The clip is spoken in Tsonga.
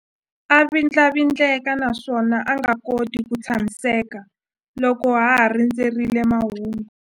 A vindlavindleka naswona a nga koti ku tshamiseka loko a ha rindzerile mahungu.